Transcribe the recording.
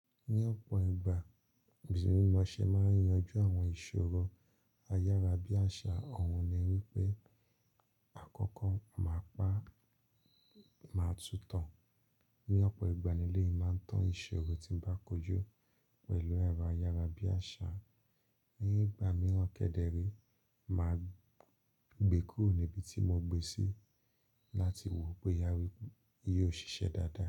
Ní ọ̀pọ̀ ìgbà, bìnrin Mọ́ṣẹ́ máa ń yanjú àwọn ìṣòro ayára-bí-àṣá. Òun ni wípé: "Àkọ́kọ́ máa pa máa tú tán. Ní ọ̀pọ̀ ìgbà nílé yìí, màá tan ìṣòro tí ń bá kojú pẹ̀lú ara ayára-bí-àṣá. Ní ìgbà mìíràn kẹ́dẹ̀rí, màá gbékò níbi tí mo gbé sí láti wò ó pé boyàwó yìí ó ṣiṣẹ́ dáadáa."